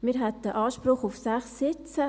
Wir hätten Anspruch auf sechs Sitze.